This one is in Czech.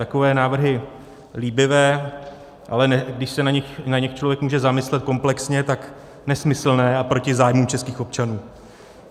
Takové návrhy líbivé, ale když se nad nimi člověk může zamyslet komplexně, tak nesmyslné a proti zájmům českých občanů.